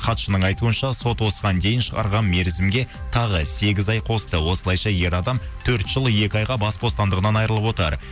хатшының айтуынша сот осыған дейін шығарған мерзімге тағы сегіз ай қосты осылайша ер адам төрт жыл екі айға бас бостандығынан айрылып отыр